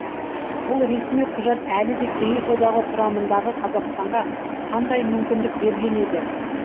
бұл ресми құжат әлі де кеңес одағы құрамындағы қазақстанға қандай мүмкіндік берген еді